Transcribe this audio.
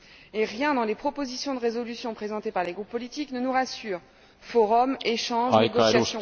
Et rien dans les propositions de résolution présentées par les groupes politiques ne nous rassure forums, échanges, négociations...